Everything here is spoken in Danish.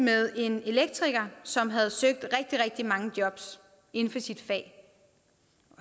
med en elektriker som havde søgt rigtig rigtig mange job inden for sit fag